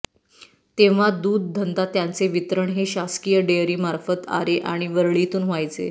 तेव्हा दूध धंदा त्याचे वितरण हे शासकीय डेअरी मार्फत आरे आणि वरळीतून व्हायचे